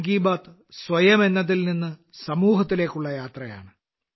മൻ കി ബാത്ത് സ്വയം എന്നത് നിന്ന് സമൂഹത്തിലേക്കുള്ള യാത്രയാണ്